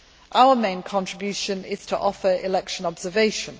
Our main contribution is to offer election observation